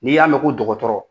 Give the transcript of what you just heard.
N'i y'a mɛ ko dɔgɔtɔrɔ